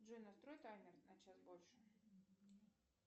джой настрой таймер на час больше